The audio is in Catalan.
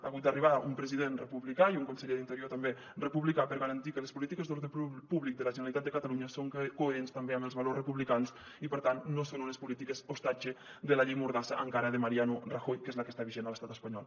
han hagut d’arribar un president republicà i un conseller d’interior també republicà per garantir que les polítiques d’ordre públic de la generalitat de catalunya són coherents també amb els valors republicans i per tant no són unes polítiques ostatge de la llei mordassa encara de mariano rajoy que és la que està vigent a l’estat espanyol